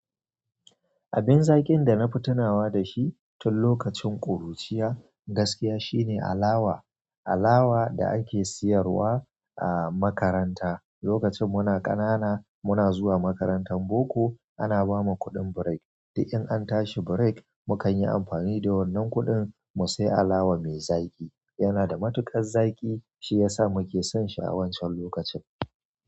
Abin zaki'n da na fi tunawa da shi tun lokacin ƙuruciya gaskiya shine alawa. Alawa da ake sayarwa a makaranta lokacin mu na ƙanana muna zuwa makarantan boko ana bamu kuɗin break. Di in an tashi break mu kan yi amfani da wannan kuɗin mu sai alawa mai zaƙi. Yana da matuƙar zaƙi shiyasa muke sonshi a wancan lokacin.